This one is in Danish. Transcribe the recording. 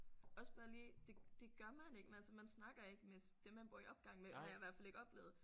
Også bare lige det det gør man ikke altså man snakker ikke med dem man bor i opgang med har jeg i hvert fald ikke oplevet